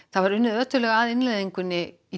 það var unnið að innleiðingunni í